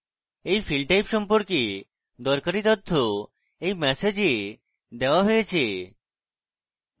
এই field type সম্পর্কে দরকারী তথ্য এই ম্যাসেজে দেওয়া হয়েছে